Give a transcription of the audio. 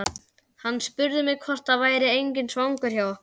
Hann spurði mig hvort það væri enginn svangur hjá okkur.